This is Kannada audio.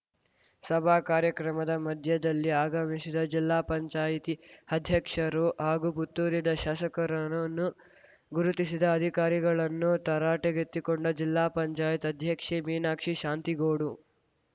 ಸಭಾ ಕಾರ್ಯಕ್ರಮದ ಮಧ್ಯದಲ್ಲಿ ಆಗಮಿಸಿದ ಜಿಲ್ಲಾಪಂಚಾಯತಿಅಧ್ಯಕ್ಷರು ಹಾಗೂ ಪುತ್ತೂರಿನ ಶಾಸಕರನ್ನು ಗುರುತಿಸಿದ ಅಧಿಕಾರಿಗಳನ್ನು ತರಾಟೆಗೆತ್ತಿಕೊಂಡ ಜಿಲ್ಲಾ ಪಂಚಾಯತ್ ಅಧ್ಯಕ್ಷೆ ಮೀನಾಕ್ಷಿ ಶಾಂತಿಗೋಡು